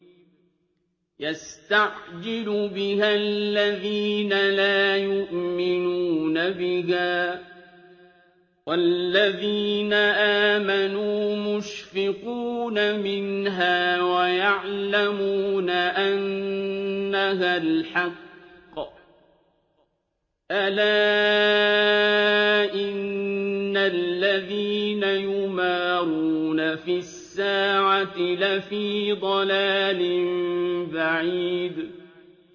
يَسْتَعْجِلُ بِهَا الَّذِينَ لَا يُؤْمِنُونَ بِهَا ۖ وَالَّذِينَ آمَنُوا مُشْفِقُونَ مِنْهَا وَيَعْلَمُونَ أَنَّهَا الْحَقُّ ۗ أَلَا إِنَّ الَّذِينَ يُمَارُونَ فِي السَّاعَةِ لَفِي ضَلَالٍ بَعِيدٍ